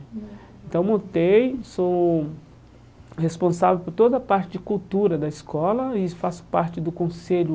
Então, montei, sou responsável por toda a parte de cultura da escola e faço parte do conselho